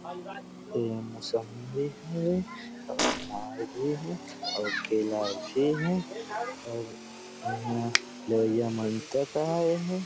ये मौसम्बी भी हे अउ अनार भी हे अउ केला भी हे और यहां लइका मन तक आए हे।